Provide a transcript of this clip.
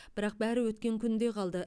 бірақ бәрі өткен күнде қалды